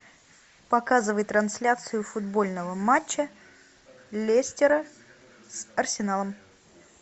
показывай трансляцию футбольного матча лестера с арсеналом